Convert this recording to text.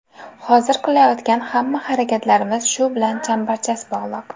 Hozir qilayotgan hamma harakatlarimiz shu bilan chambarchas bog‘liq.